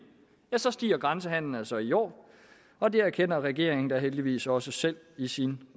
så stiger grænsehandelen altså i år og det erkender regeringen da heldigvis også selv i sin